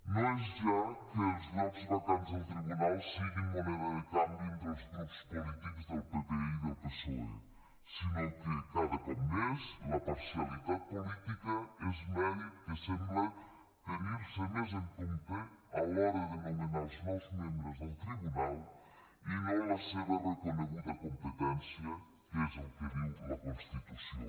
no és ja que els llocs vacants del tribunal siguin moneda de canvi entre els grups polítics del pp i del psoe sinó que cada cop més la parcialitat política és mèrit que sembla tenir se més en compte a l’hora de nomenar els nous membres del tribunal i no la seva reconeguda competència que és el que diu la constitució